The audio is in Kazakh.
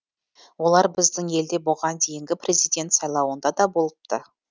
олар біздің елде бұған дейінгі президент сайлауында да болыпты